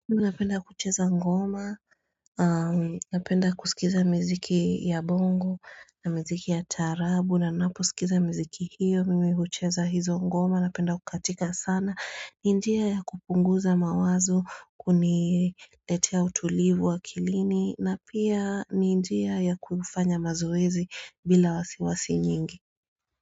Unapenda kucheza ngoma, napenda kuskiza mziki ya bongo na mziki ya taarabu, na napo skiza mziki hiyo, mimi hucheza hizo ngoma, napenda kukatika sana, ni njia ya kupunguza mawazo, kuniletea utulivu wa akilini, na pia ni njia ya kufanya mazoezi bila wasiwasi nyingi.